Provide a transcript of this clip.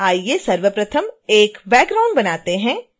आइए सर्वप्रथम एक बैकग्राउंड बनाते हैं